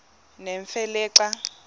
nemfe le xa